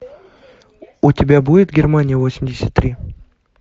у тебя будет германия восемьдесят три